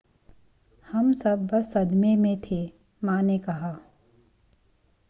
हम सब बस सदमे में थे मां ने कहा